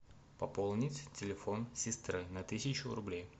пополнить телефон сестры на тысячу рублей